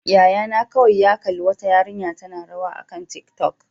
Yayana kawai ya kalli wata yarinya tana rawa akan tiktok.